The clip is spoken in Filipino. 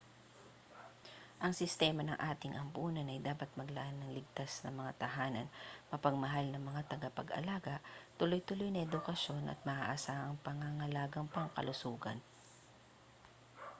ang sistema ng ating ampunan ay dapat maglaan ng ligtas na mga tahanan mapagmahal na mga tagapag-alaga tuloy-tuloy na edukasyon at maaasahang pangangalagang pangkalusugan